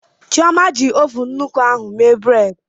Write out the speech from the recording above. Chioma ji ovun nnukwu ahụ mee bredị.